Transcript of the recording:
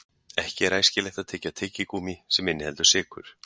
Ekki er æskilegt að tyggja tyggigúmmí sem inniheldur sykur.